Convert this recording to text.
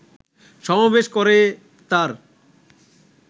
সমাবেশ করে তার